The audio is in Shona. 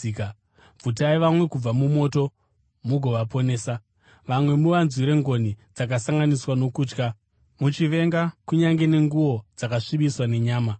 bvutai vamwe kubva mumoto mugovaponesa; vamwe muvanzwire ngoni dzakasanganiswa nokutya, muchivenga kunyange nenguo dzakasvibiswa nenyama.